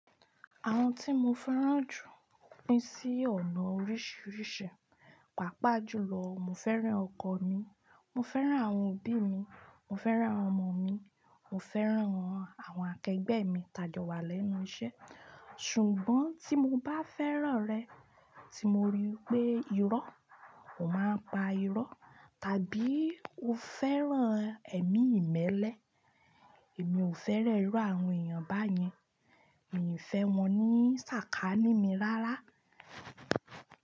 Àwọn tí mo fẹ́ràn jù pín sí ọ̀nà oríṣìíríṣìí. Pápá jùlọ, mo fẹ́ràn ọkọ mi, mo fẹ́ràn àwọn òbí mi, mo fẹ́ràn àwọn ọmọ mi, mo fẹ́ràn àwọn akẹgbẹ́ mi tajọ́wà lẹ́nu iṣẹ́. Ṣùgbọ́n tí mo bá fẹ́ràn rẹ tí mo rí pé irọ́, o máa pa irọ́. Tàbí o fẹ́ràn ẹ̀mí ìmẹ́lẹ́, èmi ò fẹ́ràn irú àwọn èèyàn báyẹn. Mi ò fẹ́ wọn ní sàkání mi rárá.